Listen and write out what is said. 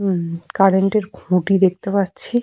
Bike এবং cycle রাখা আছে।